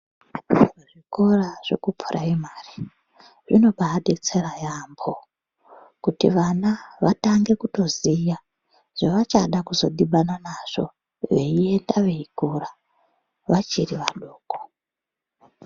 Zvikora zvekupuraimari zvinobaadetsera yaambo kuti vana vatange kutoziya zvavachada kuzodhibana nazvo veienda veikura, vachiri vadoko.